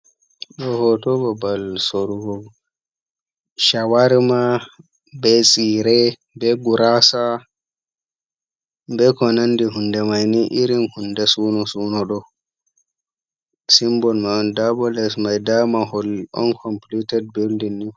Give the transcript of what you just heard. Ɗo hoto babal sorowo shawarma be tsire, be gurasa be ko nandi hunde mai ni irin hunde suno-suno. Ɗon simbol mai nda bo les mai, nda mahol onkomplited bildin ni.